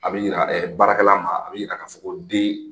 A bɛ yira baarakɛla ma a bɛ yira k'a fɔ ko den